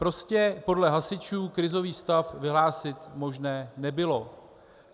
Prostě podle hasičů krizový stav vyhlásit možné nebylo.